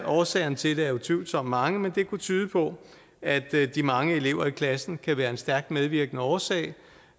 årsagerne til det er utvivlsomt mange men det kunne tyde på at de mange elever i klassen kan være en stærkt medvirkende årsag